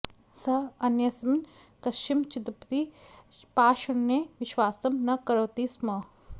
सः अन्यस्मिन् कस्मिंश्चिदपि पाषण्डे विश्वासं न करोति स्म